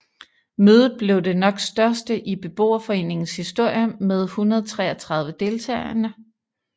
Mødet blev det nok største i beboerforeningens historie med 133 deltagende